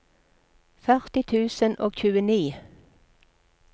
førti tusen og tjueni